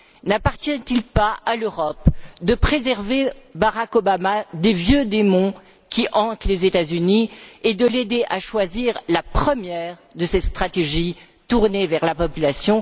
N'appartient il pas à l'Europe de préserver Barack Obama des vieux démons qui hantent les États Unis et de l'aider à choisir la première de ces stratégies tournée vers la population?